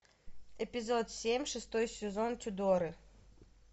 эпизод семь шестой сезон тюдоры